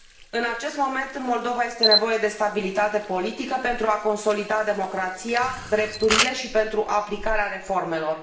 În acest moment, în Moldova este nevoie de stabilitate politică pentru a consolida democrația, drepturile și pentru aplicarea reformelor.